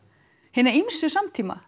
hina ýmsu samtíma